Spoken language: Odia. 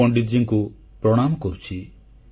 ମୁଁ ପଣ୍ଡିତଜୀଙ୍କୁ ପ୍ରଣାମ କରୁଛି